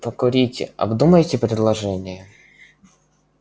покурите обдумайте предложение